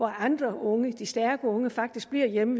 andre unge de stærke unge faktisk er hjemme